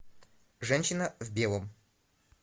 женщина в белом